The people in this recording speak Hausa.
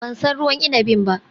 Ban san ruwan inabin ba